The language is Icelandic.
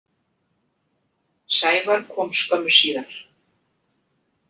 Sævar kom skömmu síðar.